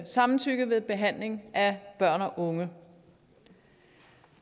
samtykke ved behandling af børn og unge